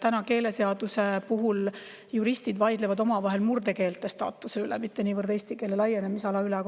Sest keeleseaduse puhul juristid vaidlevad omavahel murdekeelte staatuse üle, mitte niivõrd eesti keele laienemise üle.